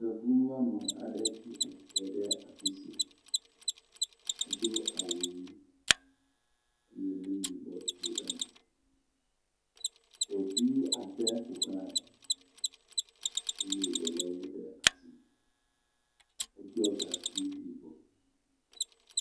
Yevu nyɔnu aɖe tsi atsitre ɖe afi sia. Edo awu ʋi ye nuyibɔ to eme. Ɖevi ade ƒoxlae eye wo le woƒe asi. Eɖɔ gaŋkui yibɔ.